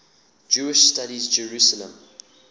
jewish studies jerusalem